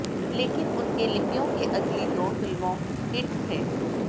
लेकिन उनके लिपियों के अगली दो फिल्मों हिट थे